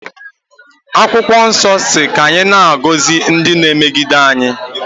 E, akwokwo nso si ka anyi na-agosi ndi na emegide anyi.